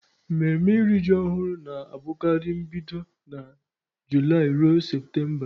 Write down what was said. Mmemme iri ji ọhụrụ na-abụkarị bido na Julaị ruo Septemba.